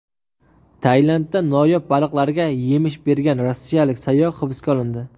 Tailandda noyob baliqlarga yemish bergan rossiyalik sayyoh hibsga olindi.